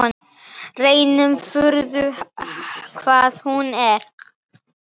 Reyndar furða hvað hún er.